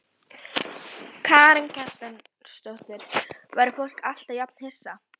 Karen Kjartansdóttir: Verður fólk alltaf jafn hissa?